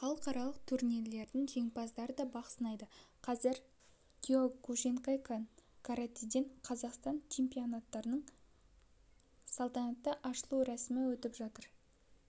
халықаралық турнирлердің жеңімпаздары да бақ сынайды қазір киокушинкай-канкаратэден қазақстан чемпионатының салтанатты ашылу рәсімі өтіп жатыр